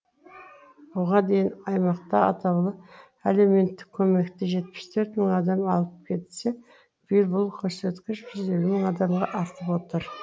бұған дейін аймақта атаулы әлеуметтік көмекті жетпіс төрт мың адам алып келсе биыл бұл көрсеткіш жүз елу мың адамға артып отыр